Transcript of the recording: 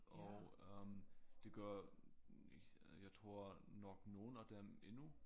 og øh det gør nicht jeg tror nok nogle af dem endnu